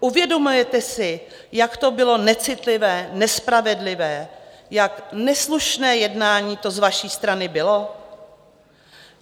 Uvědomujete si, jak to bylo necitlivé, nespravedlivé, jak neslušné jednání to z vaší strany bylo?